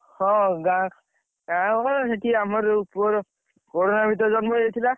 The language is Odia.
ହଁ ଗାଁ, ଗାଁର ପା ସେଠି ଆମର ଯୋଉ ପୁଅର, corona ଭିତରେ ଜନ୍ମ ହେଇଯାଇଥିଲା।